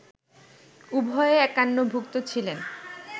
উভয়ে একান্নভুক্ত ছিলেন